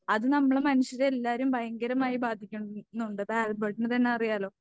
അത് നമ്മൾ മനുഷ്യരെ എല്ലാരെയും ഭയങ്കരമായി ബാധിക്കുന്നുണ്ട് ഇപ്പൊ ആൽബർട്ട്ന് തന്നെ അറിയാല്ലോ?